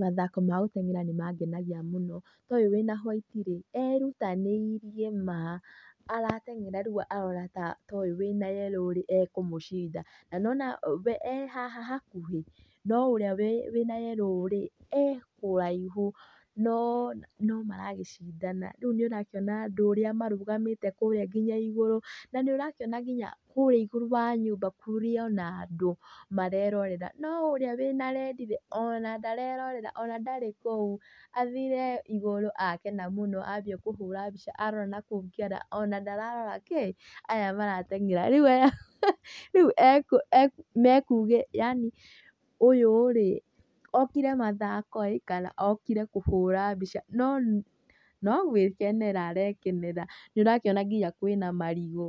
Mathako ma gũteng'era nĩ mangenagĩa mũno, ta ũyũ wĩna white rĩ erutanĩirie, arateng'era rĩu arona ta ũyũ wĩna yellow ekũmũcinda na nĩ wona we ehaha hakuhĩ, no ũrĩa wĩna yellow rĩ ekũraihu no maragĩcindana. Rĩu nĩ ũrakĩona andũ ũrĩa marũgamĩte kũrĩa nginya ĩgũrũ na nĩ ũrakĩona nginya kũrĩa igũrũ wa nyũmba kũrĩ ona andũ marerorera, no ũrĩa wĩna redi ona ndarerorera, ona ndari kũu, athire igũrũ akena mũno ambia kũhũra mbica arora na kũngĩ ona ndararora aya marateng'era, rĩu oyo rĩ ũkire mathako rĩ kana ũkire kũhũra mbica? No nogwĩkenera arakenera. Nĩ ũrakĩona nginya kwĩna marigũ,